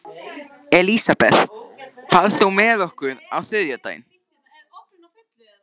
Elisabeth, ferð þú með okkur á þriðjudaginn?